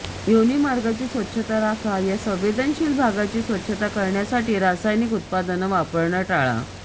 योनीमार्गाची स्वच्छता राखा या संवेदनशील भागाची स्वच्छता करण्यासाठी रासायनिक उत्पादनं वापरणं टाळा